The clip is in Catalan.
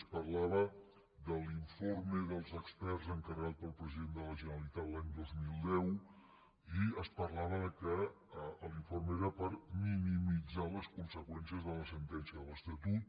es parlava de l’informe dels experts encarregat pel president de la generalitat l’any dos mil deu i es parlava del fet que l’informe era per minimitzar les conseqüències de la sentència de l’estatut